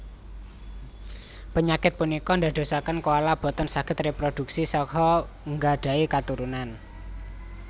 Penyakit punika ndadosaken koala boten saged reprodhuksi saha nggadhahi katurunan